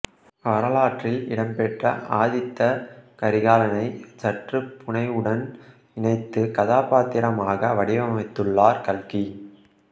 வரலாற்றில் இடம்பெற்ற ஆதித்த கரிகாலனைச் சற்று புனைவுடன் இணைத்து கதாபாத்திரமாக வடிவமைத்துள்ளார் கல்கி